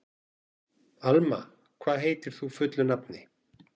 Alma, hvað heitir þú fullu nafni?